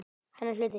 Hennar hluti.